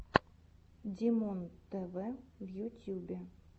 димонтв в ютюбе